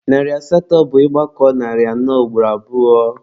Narị asatọ bụ ị gbakọọ narị anọ ugboro abụọ.